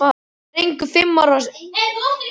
Ég skil ekki hvað þú ert að fara.